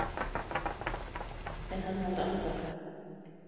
En hann varð andvaka.